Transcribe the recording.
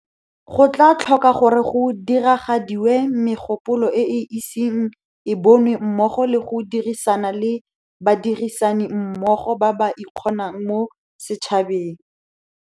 Go tla tlhoka gore go diragadiwe megopolo e e iseng e bonwe mmogo le go dirisana le badirisanimmogo ba ba ikgonang mo setšhabeng.